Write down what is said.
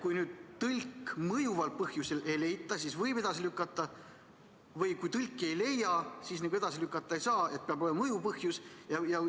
Kas siis, kui tõlki mõjuval põhjusel ei leita, võib istungi edasi lükata, aga kui tõlki niisama ei leia, siis edasi lükata ei saa, peab olema mõjuv põhjus?